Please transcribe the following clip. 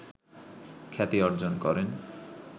খ্যাতি অর্জন করেন